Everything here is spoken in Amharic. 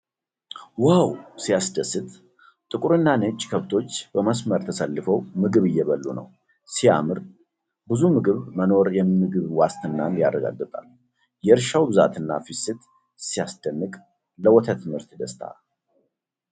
ዋው! ሲያስደስት! ጥቁርና ነጭ ከብቶች በመስመር ተሰልፈው ምግብ እየበሉ ነው። ሲያምር! ብዙ ምግብ መኖሩ የምግብ ዋስትናን ያረጋግጣል። የእርሻው ብዛትና ፍሰት ሲያስደንቅ! ለወተት ምርት ደስታ!